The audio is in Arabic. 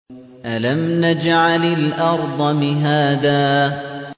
أَلَمْ نَجْعَلِ الْأَرْضَ مِهَادًا